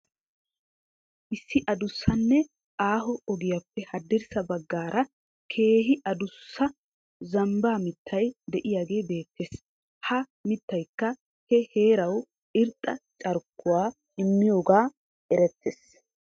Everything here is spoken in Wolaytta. Issi addussanne aaho ogiyappe haddirssa baggaara keehi addussa zambba mittay de'iyaagee beettes. Ha mittaykka he heeraw irxxa carkkuwaa immiyooga erettees.